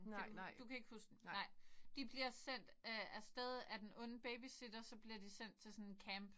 Kan du du kan ikke huske den? Nej. De bliver sendt øh afsted af den onde babysitter så bliver de sendt til sådan en camp